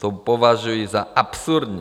To považuji za absurdní!